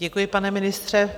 Děkuji, pane ministře.